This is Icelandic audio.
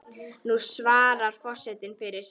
Nú svarar forseti fyrir sig.